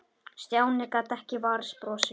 Stjáni gat ekki varist brosi.